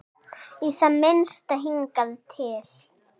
Í það minnsta hingað til.